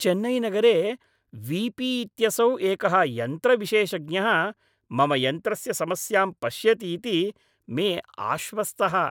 चेन्नैनगरे V P इत्यसौ एकः यन्त्रविशेषज्ञः मम यन्त्रस्य समस्यां पश्यति इति मे आश्वस्तः।